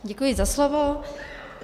Děkuji za slovo.